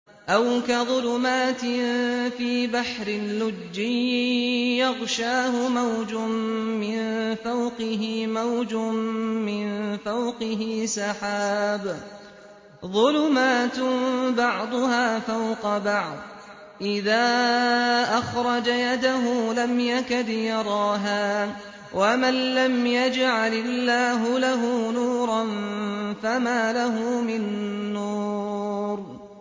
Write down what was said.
أَوْ كَظُلُمَاتٍ فِي بَحْرٍ لُّجِّيٍّ يَغْشَاهُ مَوْجٌ مِّن فَوْقِهِ مَوْجٌ مِّن فَوْقِهِ سَحَابٌ ۚ ظُلُمَاتٌ بَعْضُهَا فَوْقَ بَعْضٍ إِذَا أَخْرَجَ يَدَهُ لَمْ يَكَدْ يَرَاهَا ۗ وَمَن لَّمْ يَجْعَلِ اللَّهُ لَهُ نُورًا فَمَا لَهُ مِن نُّورٍ